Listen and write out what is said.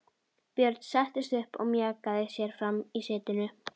Björn settist upp og mjakaði sér fram í setinu.